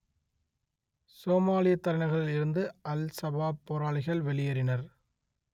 சோமாலியத் தலைநகரில் இருந்து Al Shabaab போராளிகள் வெளியேறினர்